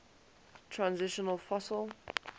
transitional fossil